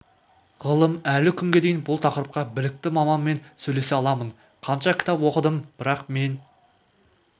ғылым әлі күнге дейін бұл тақырыпқа білікті маманмен сөйлесе аламын қанша кітап оқыдым бірақ мен